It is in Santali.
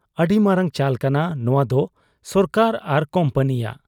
ᱟᱹᱰᱤ ᱢᱟᱨᱟᱝ ᱪᱟᱞᱠᱟᱱᱟ ᱱᱚᱶᱟᱫᱚ ᱥᱚᱨᱠᱟᱨ ᱟᱨ ᱠᱩᱢᱯᱟᱹᱱᱤᱭᱟᱜ ᱾